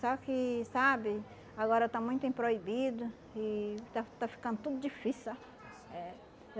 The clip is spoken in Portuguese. Só que, sabe, agora está muito em proibido e está está ficando tudo difícil, sabe? É.